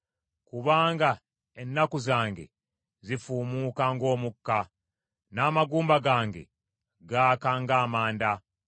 Kubanga ennaku zange zifuumuuka ng’omukka, n’amagumba gange gaaka ng’amanda.